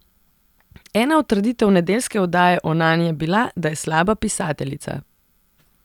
Ena od trditev nedeljske oddaje o Nani je bila, da je slaba pisateljica.